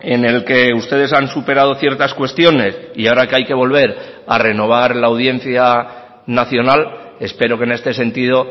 en el que ustedes han superado ciertas cuestiones y ahora que hay que volver a renovar la audiencia nacional espero que en este sentido